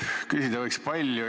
Küsida võiks palju.